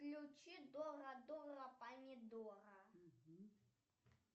включи дора дора помидора